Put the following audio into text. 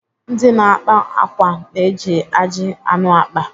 Ndị na-akpa akwa na-eji ajị anụ akpa.